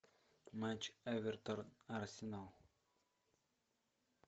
матч эвертон арсенал